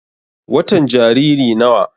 watan Jariri nawa?